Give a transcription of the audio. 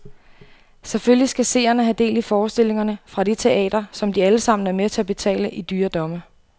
Selvfølgelig skal seerne have del i forestillingerne fra det teater, som de alle sammen er med til at betale i dyre domme.